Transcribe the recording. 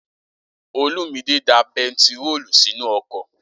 Olúmidè da bentiróòlù sínú ọkọ̀